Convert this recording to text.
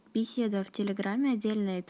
беседа в телеграмме отдельная